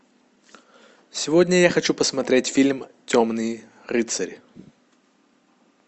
сегодня я хочу посмотреть фильм темный рыцарь